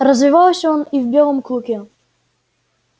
развивался он и в белом клыке